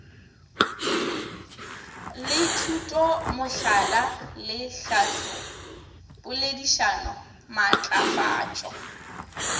le thutomohlala le tlhahlopoledišano maatlafatšo